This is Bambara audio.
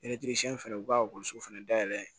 fɛnɛ u ka ekɔliso fɛnɛ dayɛlɛ